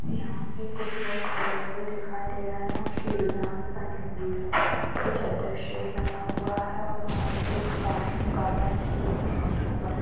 यहाँ पे कुछ लोग खड़े हुए दिखाई दे रहे है और सीड़िया भी बनी हुई कोई चद्दर शेड बना हुआ है और आगे के सामने गार्डन है जिसमे घास उगा है।